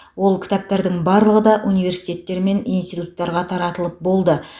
ол кітаптардың барлығы да университеттер мен институттарға таратылып болды